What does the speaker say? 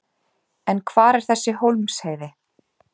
En hvar er þessi Hólmsheiði?